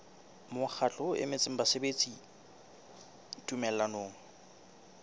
mokgatlo o emetseng basebeletsi tumellanong